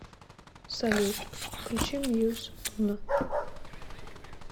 салют включи мьюз уно